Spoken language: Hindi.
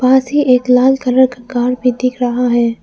वहां से एक लाल कलर का कार भी दिख रहा है।